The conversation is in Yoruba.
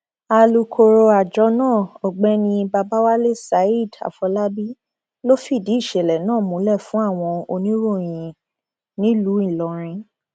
alūkkóró àjọ náà ọgbẹni babáwálé zaid afòlábí ló fìdí ìṣẹlẹ náà múlẹ fún àwọn oníròyìn nílùú ìlọrin